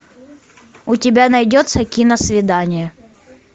у тебя найдется киносвидание